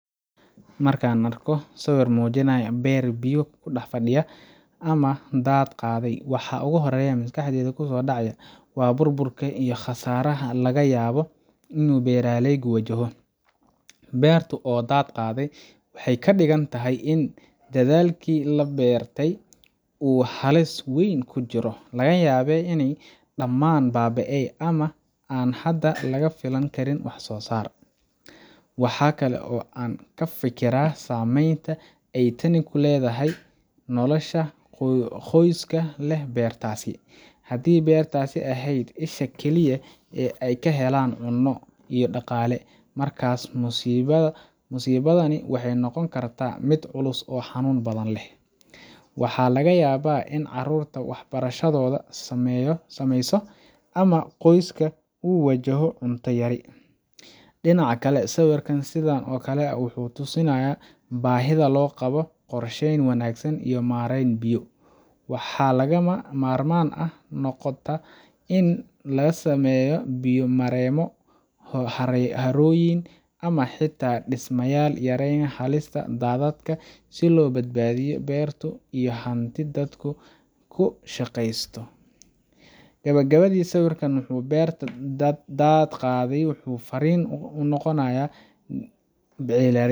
Markan mujinayo beer biyo dad qadhe, waxaa u hore oo maaskaxdeyda kuso dacaaya waxaa waye bur burka iyo qasaraha, in beera leygu wajaho beertu oo dad qade waxee kadigantahy in dadhalki labeere u halis weyn kujiraa daman babieye ama kafilan kiranwaxan kalo qoyska hadii beerta ee ehed hasha kali eh ee ka helan cuno musibadani waxee noqon kartaa miid culus, amaa qoyska u wajaho diwato ama dinaca kale sawirka wuxuu tusinaya bahida lo qawo maren iyo hab wanagsan si loga sameyo biya maroyn, gawa gawadi sawirka beer qade dad oo u noqonaya dad beeraley.